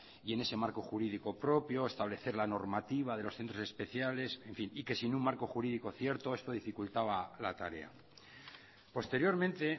y en ese marco jurídico propio establecer la normativa de los centros especiales en fin y que sin un marco jurídico cierto esto dificultaba la tarea posteriormente